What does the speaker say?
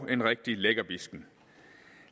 en rigtig lækkerbisken